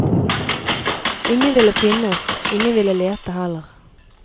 Ingen ville finne oss, ingen ville lete heller.